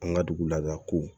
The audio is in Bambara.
An ka dugu laada kow